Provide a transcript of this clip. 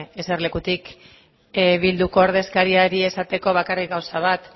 eserlekutik bilduko ordezkariari esateko bakarrik gauza bat